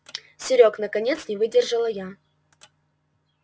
серёг наконец не выдержала я